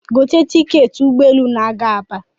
gote tiketị ụgbọelu na-aga Aba